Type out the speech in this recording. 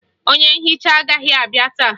Onye nhicha agaghị abịa taa